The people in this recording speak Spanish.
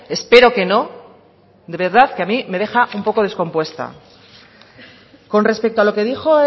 espero que no de verdad que a mí me deja un poco descompuesta con respecto a lo que dijo